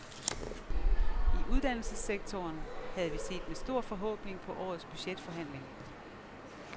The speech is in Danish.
I uddannelsessektoren havde vi set med stor forhåbning på årets budgetforhandling.